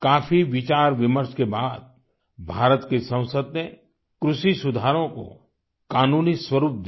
काफ़ी विचार विमर्श के बाद भारत की संसद ने कृषि सुधारों को कानूनी स्वरुप दिया